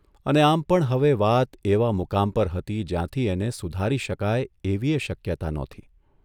અને આમ પણ હવે વાત એવા મુકામ પર હતી જ્યાંથી એને સુધારી શકાય એવીયે શક્યતા નહોતી.